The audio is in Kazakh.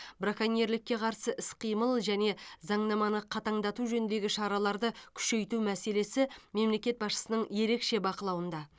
браконьерлікке қарсы іс қимыл және заңнаманы қатаңдату жөніндегі шараларды күшейту мәселесі мемлекет басшысының ерекше бақылауында